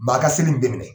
Maa ka seli nin bɛɛ minɛ